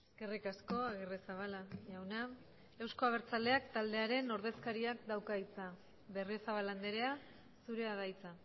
eskerrik asko agirrezabala jauna euzko abertzaleak taldearen ordezkariak dauka hitza berriozabal andrea zurea da hitza